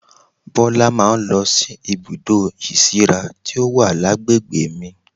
Bọlá máa ń lọ sí ibùdó ìsíra tí ó wà lágbègbè mi